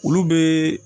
Olu bɛ